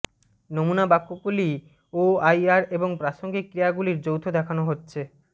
নমুনা বাক্যগুলি ওআইআর এবং প্রাসঙ্গিক ক্রিয়াগুলির যৌথ দেখানো হচ্ছে